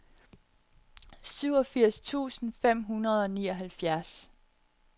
syvogfirs tusind fem hundrede og nioghalvfjerds